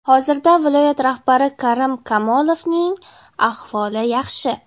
Hozirda viloyat rahbari Karim Kamolovning ahvoli yaxshi.